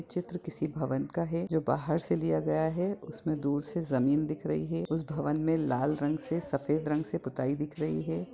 ये चित्र किसी भवन का है जो बाहर से लिया गया है उसमें दूर से जमीन दिख रही है उस भवन में लाल रंग से सफेद रंग से पुताई दिख रही है।